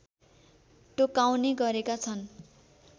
टोकाउने गरेका छन्